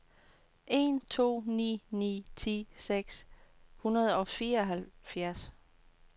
en to ni ni ti seks hundrede og fireoghalvfjerds